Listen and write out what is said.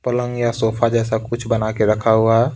पलंग या सोफा जैसा कुछ बना के रखा हुआ है।